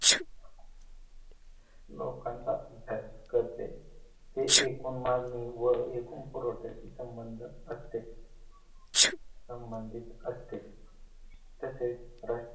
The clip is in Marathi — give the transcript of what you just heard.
लोकांचा करते ते एकूण मागणी व एकूण पुरवठ्याची संबंध असते संबंधित असते तसेच राष्ट्रीय